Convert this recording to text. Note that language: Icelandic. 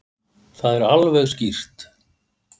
Það sé alveg skýrt.